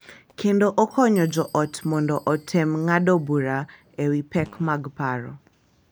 Kendo okonyo jo ot mondo otem ng’ado bura e wi pek mag paro .